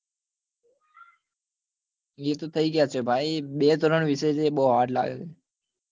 એ થઇ ગયા છે બે ત્રણ વિષય છે એ બઉ hard લાગે છે